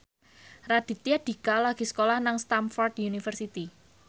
Raditya Dika lagi sekolah nang Stamford University